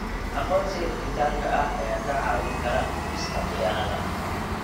Aqoonsiga dhijitaalka ah ayaa kaa caawin kara dhimista khiyaanada.